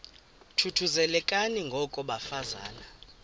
thuthuzelekani ngoko bafazana